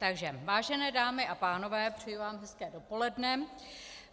Takže vážené dámy a pánové, přeji vám hezké dopoledne.